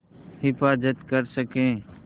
हिफ़ाज़त कर सकें